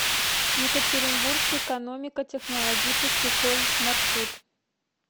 екатеринбургский экономико технологический колледж маршрут